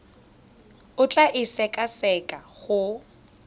o tla e sekaseka go